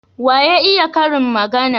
Wa ya iya karin magana?